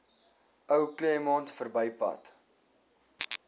ou claremont verbypad